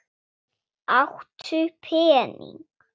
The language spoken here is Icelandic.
Áttu pening?